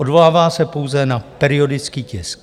Odvolává se pouze na periodický tisk.